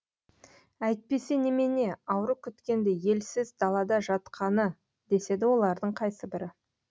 әйтпесе немене ауру күткендей елсіз далада жатқаны деседі олардың қайсыбірі